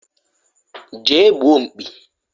je gbuo mkpi